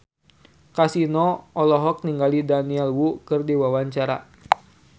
Kasino olohok ningali Daniel Wu keur diwawancara